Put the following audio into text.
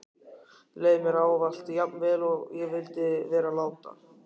Leið mér ávallt jafn vel og ég vildi vera láta?